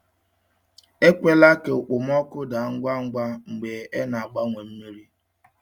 Ekwela ka okpomọkụ daa ngwa ngwa mgbe e na-agbanwe mmiri.